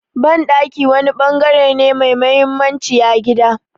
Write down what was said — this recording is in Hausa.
Banɗaki wani bangare ne mai mahimmanci a gida.